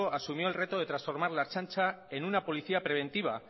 asumió el reto de transformar la ertzaintza en una policía preventiva